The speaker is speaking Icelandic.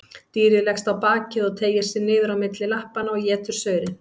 Dýrið leggst á bakið og teygir sig niður á milli lappanna og étur saurinn.